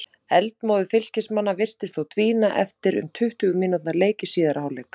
Eldmóður Fylkismanna virtist þó dvína eftir um tuttugu mínútna leik í síðari hálfleik.